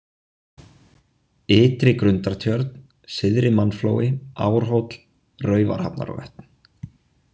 Ytri-Grundartjörn Syðri, Mannflói, Árhóll, Raufarhafnarvötn